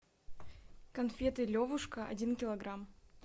конфеты левушка один килограмм